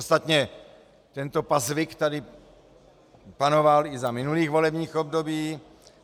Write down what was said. Ostatně tento pazvyk tady panoval i za minulých volebních období.